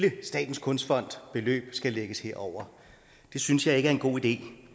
i statens kunstfond skal lægges herover det synes jeg ikke er en god idé